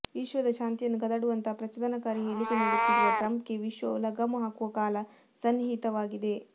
ವಿಶ್ವದ ಶಾಂತಿಯನ್ನು ಕದಡುವಂತಹ ಪ್ರಚೋದನಕಾರಿ ಹೇಳಿಕೆ ನೀಡುತ್ತಿರುವ ಟ್ರಂಪ್ಗೆ ವಿಶ್ವವು ಲಗಾಮು ಹಾಕುವ ಕಾಲ ಸನ್ನಿಹಿತವಾಗಿದೆ